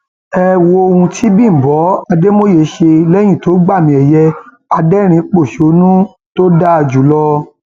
ẹ wo ohun tí bímbọ um àdèmọye ṣe lẹyìn tó gbàmìẹyẹ adẹrìnínpọṣónú um tó dáa jù lọ